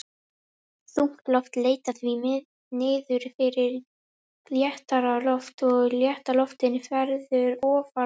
Þungt loft leitar því niður fyrir léttara loft og létta loftið verður ofan á.